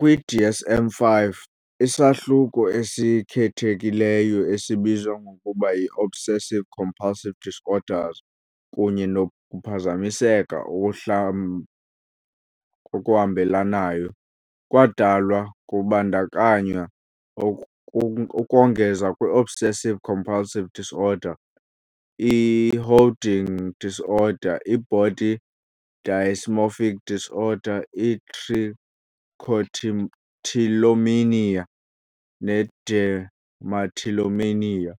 Kwi-DSM-5, isahluko esikhethekileyo esibizwa ngokuba yi "-Obsessive-compulsive disorders kunye nokuphazamiseka okuhambelanayo" kwadalwa, kubandakanywa ukongeza kwi-obsessive-compulsive disorder, i-hoarding disorder, i-body dysmorphic disorder, i-trichotillomania, i-dermatillomania,